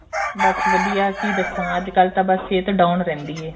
ਬੱਸ ਵਧੀਆ ਕੀ ਦੱਸਾਂ ਅੱਜਕਲ ਤਾਂ ਬਸ ਸਿਹਤ down ਰਹਿੰਦੀ ਏ